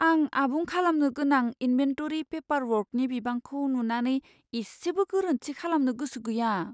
आं आबुं खालामनो गोनां इनभेन्टरि पेपारवर्कनि बिबांखौ नुनानै इसेबो गोरोन्थि खालामनो गोसो गैया।